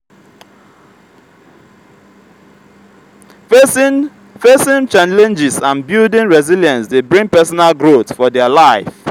facing facing challenges and building resilence de bring personal growth for their life